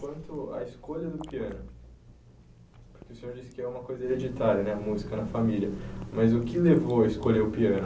Quanto à escolha do piano, porque o senhor disse que é uma coisa hereditária, né? A música na família, mas o que levou a escolher o piano?